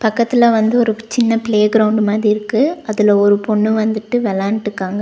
பக்கத்துல வந்து ஒரு சின்ன ப்ளே கிரௌண்ட் மாதி இருக்கு. அதுல ஒரு பொண்ணு வந்துட்டு விளாண்ட்டுக்காங்க.